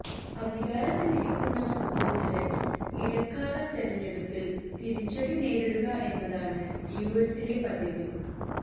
അധികാരത്തിലിരിക്കുന്ന president ഇടക്കാല തിരഞ്ഞെടുപ്പിൽ തിരിച്ചടി നേരിടുക എന്നതാണ് യുഎസിലെ പതിവ്